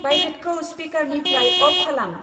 भाइब्रेटखौ स्पिकारनिफ्राय अफ खालाम।